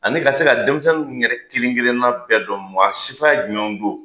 Ani ka se ka denmisɛnninw yɛrɛ kelen kelenna bɛɛ dɔn maa sifaya jumɛw don